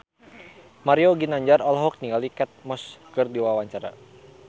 Mario Ginanjar olohok ningali Kate Moss keur diwawancara